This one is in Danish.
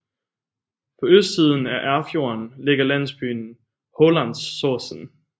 På østsiden af Erfjorden ligger landsbyen Hålandsosen